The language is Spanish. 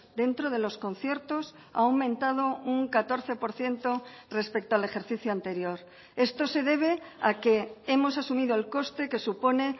dentro de los conciertos ha aumentado un catorce por ciento respecto al ejercicio anterior esto se debe a que hemos asumido el coste que supone